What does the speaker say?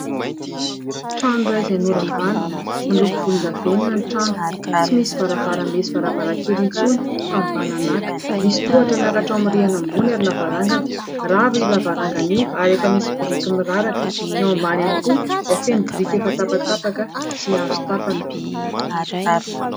Trano iray izay noravana. Miloko volondavenona ny trano. Tsy misy varavarambe sy varavarankely intsony fa mibananàka. Misy tohatra miakatra ao amin'ny rihana ambony ary lavarangana. Rava io lavarangana io ary efa misy biriky miraraka. Ny ao ambany ihany koa dia feno biriky efa tapatapaka sy hazo tapaka.